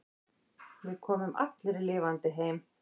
Við komum allir lifandi heim.